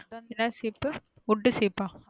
என்ன சீப்பு wood உ சீபா,